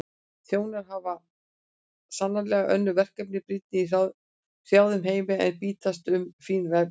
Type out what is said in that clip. Þjónar hans hafa sannarlega önnur verkefni brýnni í hrjáðum heimi en bítast um fín embætti.